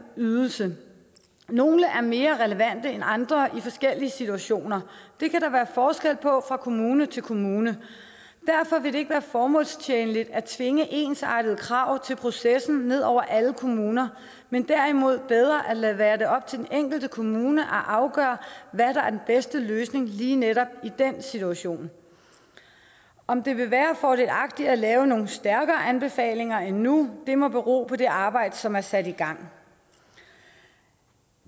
ydelse nogle er mere relevante end andre i forskellige situationer det kan der være forskel på fra kommune til kommune derfor vil det ikke være formålstjenligt at tvinge ensartede krav til processen ned over alle kommuner men derimod bedre at lade det være op til den enkelte kommune at afgøre hvad der er den bedste løsning lige netop i dens situation om det vil være fordelagtigt at lave nogle stærkere anbefalinger end nu må bero på det arbejde som er sat i gang